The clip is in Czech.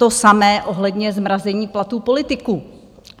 To samé ohledně zmrazení platů politiků.